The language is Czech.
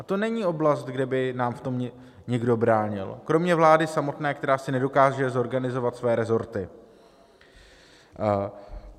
A to není oblast, kde by nám v tom někdo bránil, kromě vlády samotné, která si nedokáže zorganizovat své resorty.